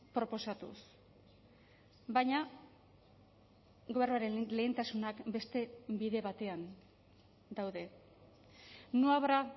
proposatuz baina gobernuaren lehentasunak beste bide batean daude no habrá